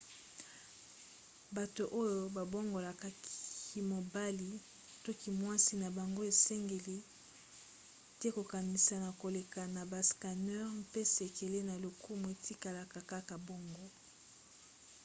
bato oyo babongola kimobali to kimwasi na bango esengeli te kokanisa na koleka na bascanneurs mpe sekele na lokumu etikala kaka bongo